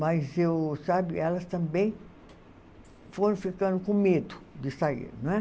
Mas eu sabe elas também foram ficando com medo de sair. não é